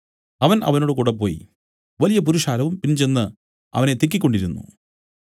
അവൻ അവനോടുകൂടെ പോയി വലിയ പുരുഷാരവും പിൻചെന്നു അവനെ തിക്കിക്കൊണ്ടിരുന്നു